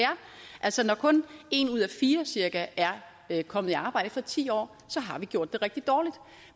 er altså når kun en ud af fire cirka er kommet i arbejde efter ti år har vi gjort det rigtig dårligt